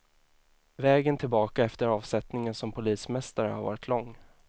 Vägen tillbaka efter avsättningen som polismästare har varit lång.